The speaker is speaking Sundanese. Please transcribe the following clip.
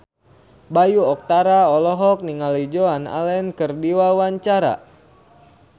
Bayu Octara olohok ningali Joan Allen keur diwawancara